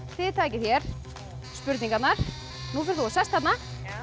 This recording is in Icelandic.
þið takið hér spurningarnar nú ferð þú og sest þarna